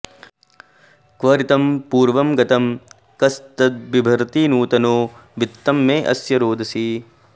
क्व ऋतं पूर्व्यं गतं कस्तद्बिभर्ति नूतनो वित्तं मे अस्य रोदसी